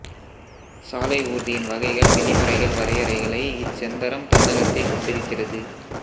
சாலை ஊர்தியின் வகைகள் விதிமுறைகள் வரையறைகளை இச்செந்தரம் தன்னகத்தே கொண்டிருக்கிறது